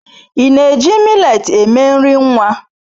Ị na-eji millet eme nri nwa?